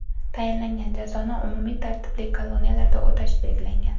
Tayinlangan jazoni umumiy tartibli koloniyalarda o‘tash belgilangan.